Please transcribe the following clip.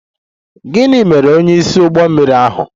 Gịnị mere onyeisi ụgbọ mmiri ahụ?